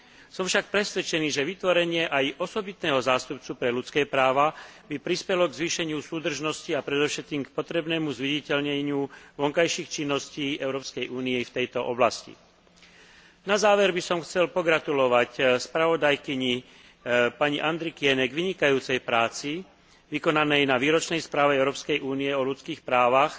Som však presvedčený, že aj vytvorenie pozície osobitného zástupcu pre ľudské práva by prispelo k zvýšeniu súdržnosti a predovšetkým k potrebnému zviditeľneniu vonkajších činností Európskej únie v tejto oblasti. Na záver by som chcel pogratulovať spravodajkyni pani Andrikienėovej k vynikajúcej práci vykonanej na výročnej správe Európskej únie o ľudských právach